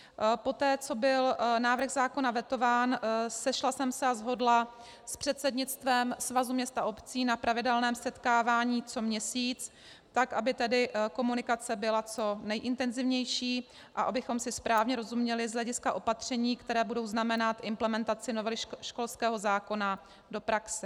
Poté co byl návrh zákona vetován, sešla jsem se a shodla s předsednictvem Svazu měst a obcí na pravidelném setkávání co měsíc, tak aby tedy komunikace byla co nejintenzivnější a abychom si správně rozuměli z hlediska opatření, která budou znamenat implementaci novely školského zákona do praxe.